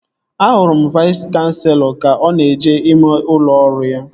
Ahụrụ m Vais kanselọ ka ọ na-eje n'ime ụlọ ọrụ ya